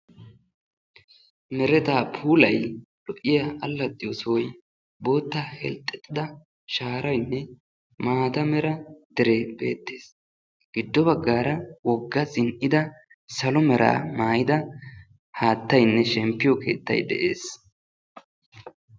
Mereta puulay lo''iya allaxiyo sohoy bootta herxxexida shaaraynne maata mera dere beettees. Giddo baggara wogga zin''ida salo mera maayyida haattaynne shemppiyo keettay de'ees.